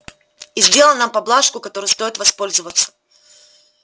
и сделал нам поблажку которой стоит воспользоваться